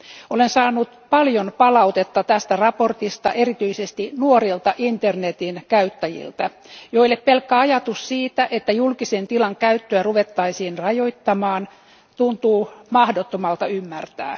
Olen saanut paljon palautetta tästä mietinnöstä erityisesti nuorilta internetin käyttäjiltä, joille pelkkä ajatus siitä, että julkisen tilan käyttöä ruvettaisiin rajoittamaan, tuntuu mahdottomalta ymmärtää.